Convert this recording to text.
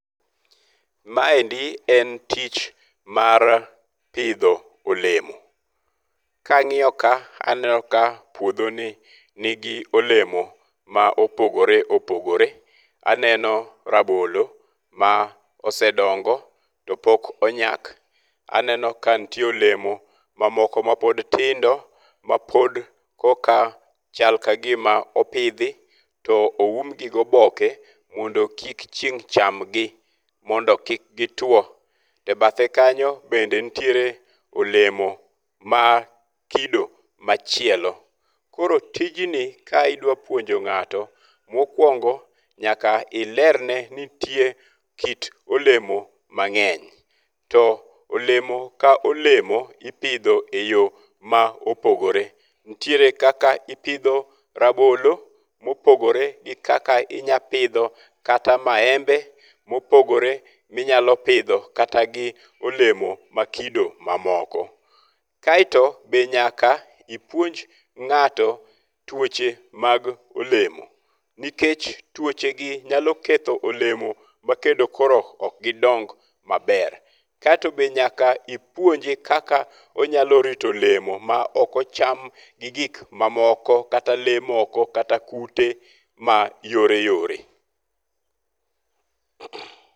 Maendi en tich mar pidho olemo. Ka ang'iyo ka aneno ka puodhoni nigi olemo ma opogore opogore. Aneno rabolo ma osedongo to pok onyak. Aneno ka nitie olomo mamoko mapod tindo mapod koka chalka gima opidhi. To oumgi gi oboke mondo kik chieng' chamgi mondo kik gituo. Ebathe kanyo bende nitiere olemo ma kido machielo. Koro tijni ka idwa puonjo ng'ato, mokwongo nyaka ilerne ni nitie kit olemo mang'eny. To elomo ka olemo ipidho e yo ma opogore. Nitiere kaka ipidho rabolo ma opogore gi kaka inypidho kata maembe mopogore minyalo pidho kata gi olemo ma kido ma moko. Kaeto be nyaka ipuonj ng'ato tuoche mag olemo. Nikech tuoche gi nyalo ketho olemo ma kendo koro ok gidong maber. Kaeto be nyaka ipuonje kaka onyalo rito olemo ma ok ocham gi gik mamoko kata le moko kata kute ma yore yore.